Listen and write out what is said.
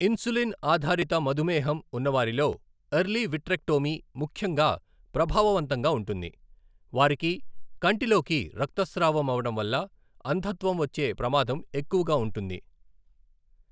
Insulin ఆధారిత మధుమేహం ఉన్నవారిలో ఎర్లీ విట్రెక్టోమీ ముఖ్యంగా ప్రభావవంతంగా ఉంటుంది, వారికి కంటిలోకి రక్తస్రావం అవడం వల్ల అంధత్వం వచ్చే ప్రమాదం ఎక్కువగా ఉంటుంది.